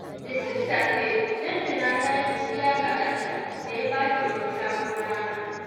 Da sassafe, Lantana ta yi godiya ga Allah da ya ba ta wani sabon rana.